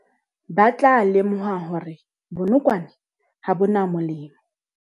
Ba tla lemoha hore bonokwane ha bo na molemo.